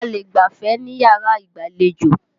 A lè gbafẹ̀ níyàrá ìgbàlejò.